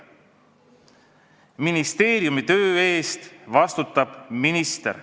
Ministeeriumi töö eest vastutab minister.